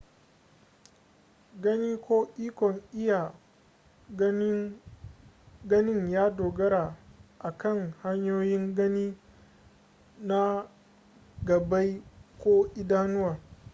gani ko ikon iya ganin ya dogara a kan hanyoyin gani na gabbai ko idanuwa